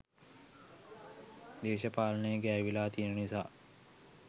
දේශපාලනේ ගෑවිලා තියන නිසා.